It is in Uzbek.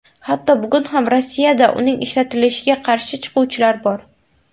Hatto bugun ham Rossiyada uning ishlatilishiga qarshi chiquvchilar bor.